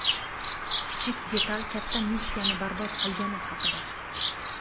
Kichik detal katta missiyani barbod qilgani haqida.